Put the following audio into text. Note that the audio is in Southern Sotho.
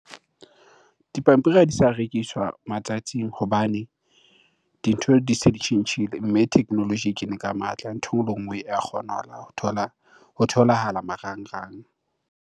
Dipampiri ha di sa rekiswa matsatsing hobane dintho di se di tjhentjhile, mme technology e kene ka matla. Ntho e nngwe le e nngwe ya kgonahala ho thola, ho tholahala marangrang.